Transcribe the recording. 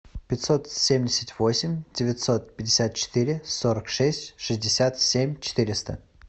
пятьсот семьдесят восемь девятьсот пятьдесят четыре сорок шесть шестьдесят семь четыреста